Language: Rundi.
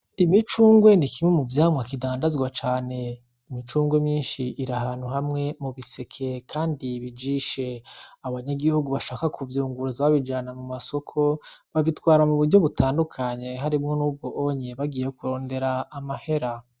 Imicungwe ni kimwe mu vyamwa kidandazwa cane, imicungwe myinshi iri ahantu hamwe mu biseke kandi bijishe , abanyagihugu bashaka kubyunguruza babijana mu masoko babitwara m’uburyo butandukanye harimwo n’ubwo onye bagiye kurondera amahera.